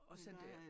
Også at det er